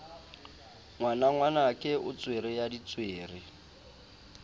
ngwanangwanake o tswere ya ditswere